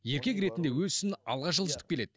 еркек ретінде өз ісін алға жылжытып келеді